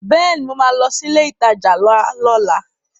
Bẹ́ẹ̀ni mo ma lọ sí ilé ìtajà ńlá lọ́la